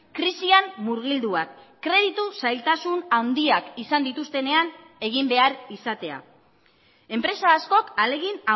krisian murgilduak kreditu zailtasun handiak izan dituztenean egin behar izatea enpresa askok ahalegin